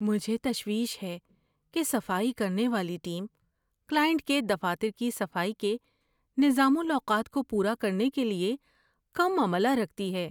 مجھے تشویش ہے کہ صفائی کرنے والی ٹیم کلائنٹ کے دفاتر کی صفائی کے نظام الاوقات کو پورا کرنے کے لیے کم عملہ رکھتی ہے۔